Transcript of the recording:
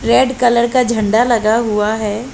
Red colour का झंडा लगा हुआ हैं।